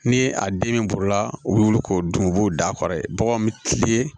Ni a den min bolola u bɛ wuli k'o dun u b'o d'a kɔrɔ baganw bɛ tilen